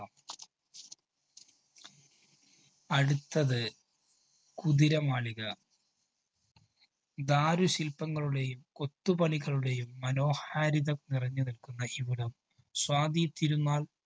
അടുത്തത് കുതിരമാളിക. ദാരു ശില്പങ്ങളുടെയും കൊത്തുപണികളുടെയും മനോഹാരിത നിറഞ്ഞുനില്‍ക്കുന്ന ഇവിടം, സ്വാതിതിരുന്നാള്‍